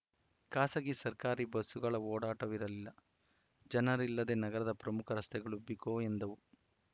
ಖಾಸಗಿ ಸರ್ಕಾರಿ ಬಸ್‌ಗಳ ಓಡಾಟವಿರಲಿಲ್ಲ ಜನರಿಲ್ಲದೆ ನಗರದ ಪ್ರಮುಖ ರಸ್ತೆಗಳು ಬಿಕೋ ಎಂದವು